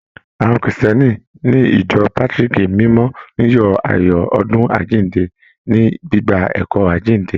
Àwọn Krìstìẹ́nì ní ìjọ Pátrìkì mímọ́ ń yọ ayọ̀ ọdún àjíǹde, ní gbígba ẹ̀kọ́ àjíǹde.